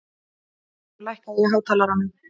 Eyvör, lækkaðu í hátalaranum.